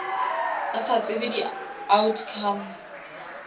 a sa tsebe di outcome